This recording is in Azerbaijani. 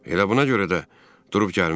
Elə buna görə də durub gəlmişəm.